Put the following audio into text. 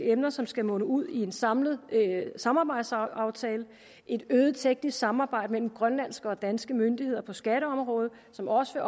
emner som skal munde ud i en samlet samarbejdsaftale og et øget teknisk samarbejde mellem grønlandske og danske myndigheder på skatteområdet som også